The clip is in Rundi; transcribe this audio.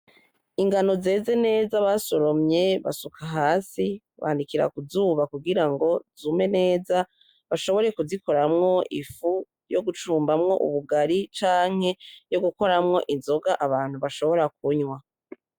Ingano zeze neza basoromye, basuka hasi banikira kuzuba kugira ngo zume neza, bashobore kuzikoramwo ifu yo gucumbamwo ubugari canke yo gukoramwo inzoga abantu bashobora kunywa.